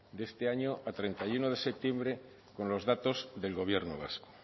de este año a treinta y uno de septiembre con los datos del gobierno vasco